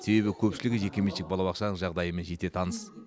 себебі көпшілігі жекеменшік балабақшаның жағдайымен жете таныс